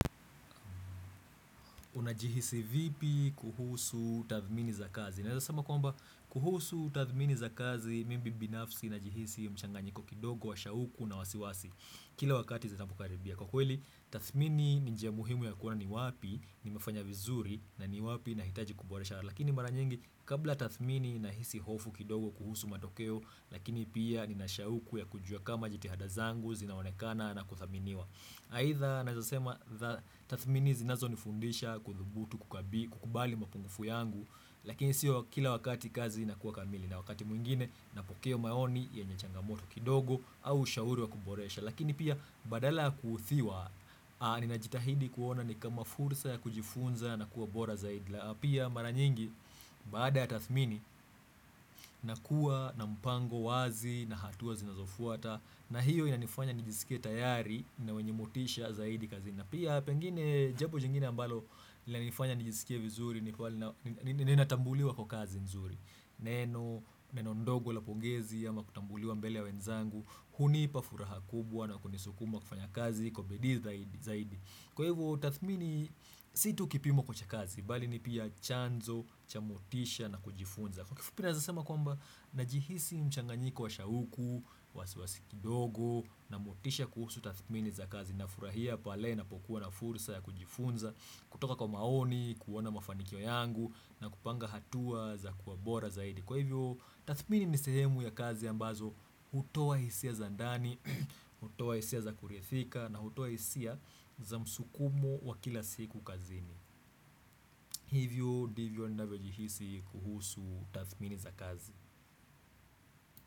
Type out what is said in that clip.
Unajihisi vipi kuhusu tathmini za kazi. Naizasama kwamba kuhusu tathmini za kazi mimi binafsi najihisi mchanganyiko kidogo wa shauku na wasiwasi Kila wakati zinapo karibia kwa kweli tathmini ni njia muhimu ya kuwa ni wapi nimefanya vizuri na ni wapi na hitaji kuboresha Lakini mara nyingi kabla tathmini nahisi hofu kidogo kuhusu matokeo Lakini pia nina shauku ya kujua kama jitihada zangu zinaonekana na kuthaminiwa. Haidha naweza sema tathmini zinazo nifundisha kuthubutu kukubali mapungufu yangu lakini siyo kila wakati kazi ina kuwa kamili na wakati mwingine napokea maoni yenye changamoto kidogo au shauri wa kuboresha. Lakini pia badala ya kuthiwa nina jitahidi kuona ni kama fursa ya kujifunza na kuwa bora zaidi na pia mara nyingi baada ya tathmini nakuwa na mpango wazi na hatuwa zinazofuata. Na hiyo yanifanya nijisikia tayari na wenye motisha zaidi kazini. Na pia pengine jambo jingine ambalo linanifanya nijisikia vizuri ni pali nina tambuliwa kwa kazi nzuri. Neno, neno ndogo la pongezi ama kutambuliwa mbele ya wenzangu hunipa furaha kubwa na kunisukuma kufanya kazi kwa bidii zaidi. Kwa hivyo tathmini si tu kipimo kuacha kazi bali ni pia chanzo, cha motisha na kujifunza. Kwa kifupi naweza sema kwamba najihisi mchanganyiko wa shauku, wasiwasi kidogo na motisha kuhusu tathmini za kazi na furahia pale napo kuwa na fursa ya kujifunza kutoka kwa maoni, kuona mafanikiyo yangu na kupanga hatua za kuwa bora zaidi. Kwa hivyo, tathmini ni sehemu ya kazi ambazo hutowa hisia za ndani, hutowa hisia za kurithika na hutowa hisia za msukumo wa kila siku kazini Hivyo, ndivyo navyo jihisi kuhusu tathmini za kazi.